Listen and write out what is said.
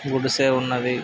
గుడిసె ఉన్నవి.